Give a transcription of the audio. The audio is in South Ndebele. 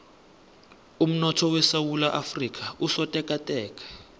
umnotho wesewula afrika usotekateka